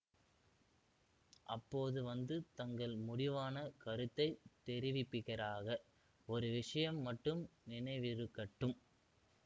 அப்போது வந்து தங்கள் முடிவான கருத்தை தெரிவிப்பீராக ஒரு விஷயம் மட்டும் நினைவிருக்கட்டும்